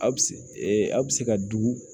Aw bi aw bi se ka dugu